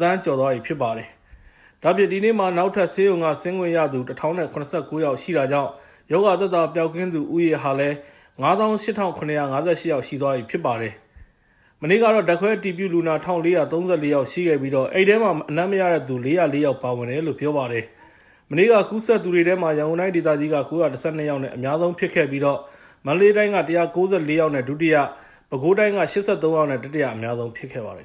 သန်းကျော်လာပြီ ဖြစ်ပါတယ်။ ဒါ့အပြင် ဒီနေ့မှာ နောက်ထပ် ဆေးရုံကဆင်းခွင့်ရသူ ၁,၀၇၉ ယောက်ရှိတာကြောင့် ရောဂါသက်သာပျောက်ကင်းသူ ဦးရေဟာလည်း ၅၈,၇၅၈ ယောက်ရှိသွားပြီ ဖြစ်ပါတယ်။ မနေ့ကတော့ ဓာတ်ခွဲအတည်ပြုလူနာ ၁,၄၃၄ ယောက်ရှိခဲ့ပြီး အဲဒီထဲမှာ အနံ့မရတဲ့သူ ၄၀၄ ယောက်ပါဝင်တယ်လို့ ပြောပါတယ်။ မနေ့က ကူးစက်သူတွေထဲမှာ ရန်ကုန်တိုင်းဒေသကြီးက ၉၁၂ ယောက်နဲ့ အများဆုံးဖြစ်ခဲ့ပြီး မန္တလေးတိုင်းက ၁၉၄ ယောက်နဲ့ ဒုတိယ၊ ပဲခူးတိုင်းက ၈၃ ယောက်နဲ့ တတိယအများဆုံး ဖြစ်ခဲ့ပါတယ်